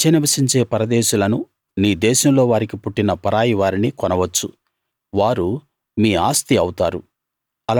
మీ మధ్య నివసించే పరదేశులను నీ దేశంలో వారికి పుట్టిన పరాయి వారిని కొనవచ్చు వారు మీ ఆస్తి అవుతారు